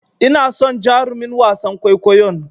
Ina son jarumin wasan kwaikwayon.